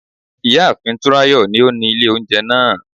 Ìyá àfin Túnráyọ̀ ni ó ni ilé oúnjẹ náà